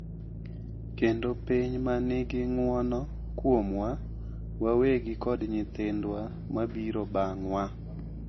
Kendo piny ma nigi ng’uono kuomwa wawegi kod nyithindwa mabiro bang’wa.